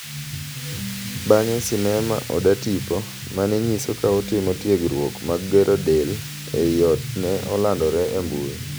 Bang'e sinema oda tipo mane nyiso ka otimo tiegruok mag gero del e i ot ne olandore e mbui